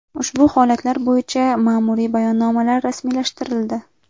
Ushbu holatlar bo‘yicha mamuriy bayonnomalar rasmiylashtirildi.